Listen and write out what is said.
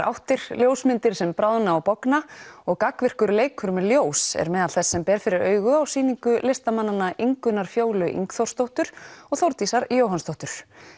áttir ljósmyndir sem bráðna og bogna og gagnvirkur leikur með ljós er meðal þess sem ber fyrir augu á sýningu listamannanna Ingunnar Fjólu Ingþórsdóttur og Þórdísar Jóhannsdóttur